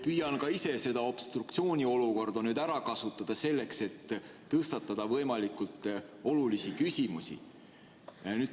Püüan ka ise seda obstruktsiooniolukorda nüüd ära kasutada selleks, et tõstatada võimalikult olulisi küsimusi.